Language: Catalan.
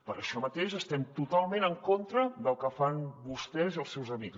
per això mateix estem totalment en contra del que fan vostès i els seus amics